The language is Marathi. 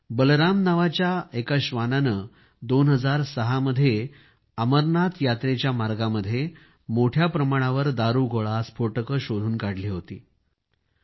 एका बलराम नावाच्या श्वानाने 2006 मध्ये अमरनाथ यात्रेच्या मार्गामध्ये मोठ्या प्रमाणावर दारूगोळा स्फोटके शोधून काढली होती